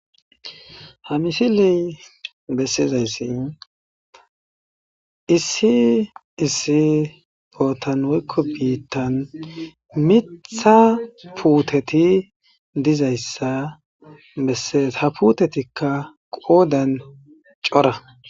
Ha misiley bessizayssi issi issi potanekko biittan mittha puuteti dizayssa eha puutetikka qoodan cora.